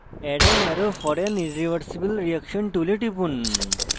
add an arrow for an irreversible reaction tool টিপুন